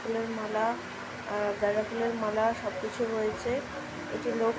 plane মালা আ গেঁদা ফুলের মালা সব কিছু রয়েছে একটি লোক --